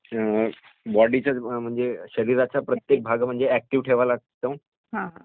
बॉडीचा म्हणजे शरीराचा प्रत्येक भाग ऍक्टिव्ह ठेवावा लागतो